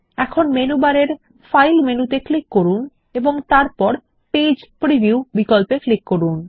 এখন মেনু বারে ফাইল মেনুতে ক্লিক করুন এবং তারপর পেজ প্রিভিউ বিকল্পে ক্লিক করুন